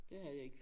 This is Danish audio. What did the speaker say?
Det havde jeg ikke